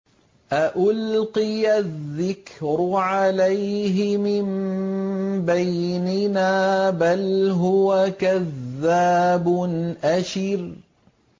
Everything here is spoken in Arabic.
أَأُلْقِيَ الذِّكْرُ عَلَيْهِ مِن بَيْنِنَا بَلْ هُوَ كَذَّابٌ أَشِرٌ